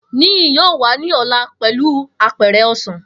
Niyi yoo wa ni ọla pẹlu apẹ̀rẹ̀ osan.